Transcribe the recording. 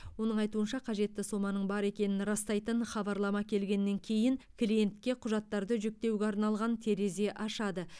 оның айтуынша қажетті соманың бар екенін растайтын хабарлама келгеннен кейін клиентке құжаттарды жүктеуге арналған терезе ашады